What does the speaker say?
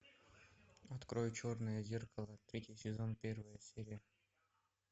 открой черное зеркало третий сезон первая серия